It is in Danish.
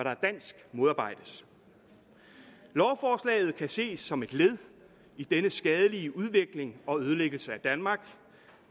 er dansk modarbejdes lovforslaget kan ses som et led i denne skadelige udvikling og ødelæggelse af danmark